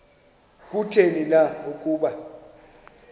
kutheni na ukuba